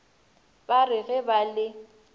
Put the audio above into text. ba re ge ba le